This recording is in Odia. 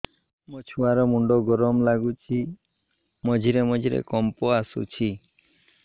ମୋ ଛୁଆ ର ମୁଣ୍ଡ ଗରମ ଲାଗୁଚି ମଝିରେ ମଝିରେ କମ୍ପ ଆସୁଛି